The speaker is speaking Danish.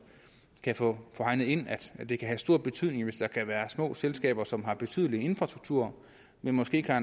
kan få hegnet ind at det kan have stor betydning hvis der kan være små selskaber som har en betydelig infrastruktur men måske ikke har